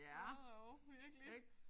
Både og virkelig